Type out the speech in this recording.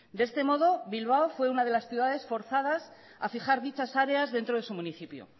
de este modo bilbao fue una de las ciudades forzadas a fijar dichas áreas dentro de su municipio